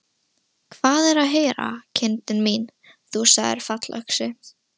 Hvað er að heyra, kindin mín, þú sagðir fallöxi.